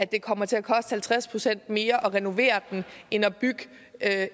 det kommer til at koste halvtreds procent mere at renovere den end at at